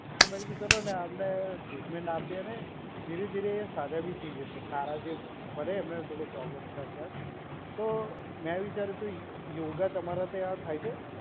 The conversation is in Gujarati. તો મેં કીધું ચલોને આમને ટ્રીટમેન્ટ આપીએ અને ધીરે ધીરે એ સાજા બી થઈ જશે. સારા જે ભલે એમને થોડો પ્રોબ્લેમ છે અત્યારે. તો મેં વિચાર્યું કે યોગા તમારા ત્યાં થાય છે.